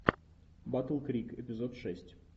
батл крик эпизод шесть